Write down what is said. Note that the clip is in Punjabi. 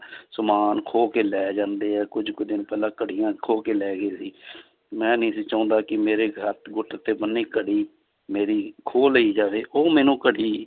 ਸਮਾਨ ਖੋਹ ਕੇ ਲੈ ਜਾਂਦੇ ਹੈ ਕੁੱਝ ਕੁ ਦਿਨ ਪਹਿਲਾਂ ਘੜੀਆਂ ਖੋਹ ਕੇ ਲੈ ਗਏ ਸੀ ਮੈਂ ਨੀ ਸੀ ਚਾਹੁੰਦਾ ਕਿ ਮੇਰੇ ਹੱਥ ਗੁੱਟ ਤੇ ਬੰਨੀ ਘੜੀ ਮੇਰੀ ਖੋਹ ਲਈ ਜਾਵੇ ਉਹ ਮੈਨੂੰ ਘੜੀ